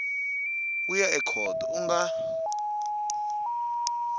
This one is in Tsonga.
wu ya ekhoto u nga